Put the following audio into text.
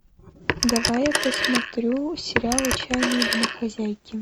давай я посмотрю сериал отчаянные домохозяйки